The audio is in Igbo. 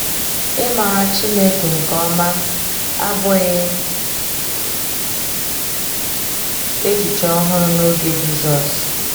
Ịmara Chineke nke ọma abụghị echiche ọhụrụ n’oge Jizọs.